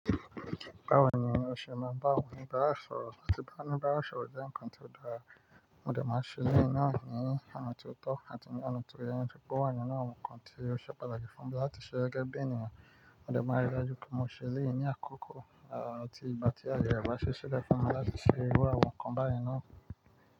Báwo ni o ṣe ma n bá awon onibaara bá sọ̀rọ̀, tí ba onibaara sọ̀rọ̀ jẹ́ ǹkan tí ó dára, mo dè máa ṣe lẹ́yìi náà ní ọ̀nà ti ó tọ́ àti ní ọ̀nà tó yẹ, nitori pó wà nínú àwọn ǹkan tí ó ṣe pàtàkì fún mi láti ṣe gẹ́gẹ́ bí ènìyàn, mo dè máa rí i dájú pe mo ṣe ẹ́leyìi ní àkókò, à ti ìgbà tí ayẹ re bá si ṣilẹ fún mi láti ṣe irú àwọn ǹkan báyìí náà.